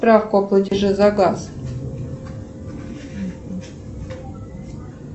справку о платеже за газ